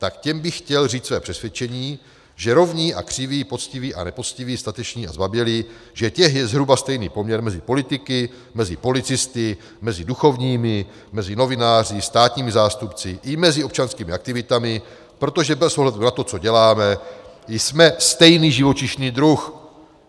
Tak těm bych chtěl říct svoje přesvědčení, že rovní a křiví, poctiví a nepoctiví, stateční a zbabělí - že těch je zhruba stejný poměr mezi politiky, mezi policisty, mezi duchovními, mezi novináři, státními zástupci i mezi občanskými aktivitami, protože bez ohledu na to, co děláme, jsme stejný živočišný druh.